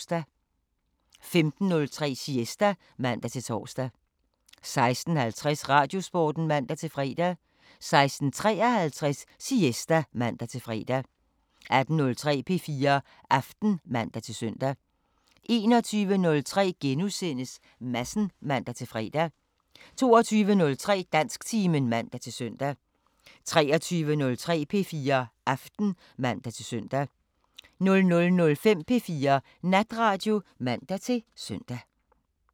15:03: Siesta (man-tor) 16:50: Radiosporten (man-fre) 16:53: Siesta (man-fre) 18:03: P4 Aften (man-søn) 21:03: Madsen *(man-fre) 22:03: Dansktimen (man-søn) 23:03: P4 Aften (man-søn) 00:05: P4 Natradio (man-søn)